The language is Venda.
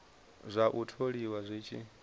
zwa u tholiwa zwi tshi